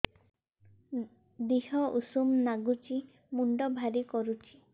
ଦିହ ଉଷୁମ ନାଗୁଚି ମୁଣ୍ଡ ଭାରି କରୁଚି